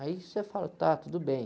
Aí você fala, tá, tudo bem.